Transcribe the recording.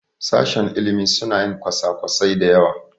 Sashen ilimi suna yin kwasa-kwasai da yawa.